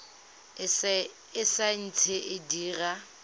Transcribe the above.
e sa ntse e dira